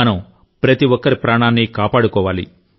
మనం ప్రతి ఒక్కరి ప్రాణాన్ని కాపాడుకోవాలి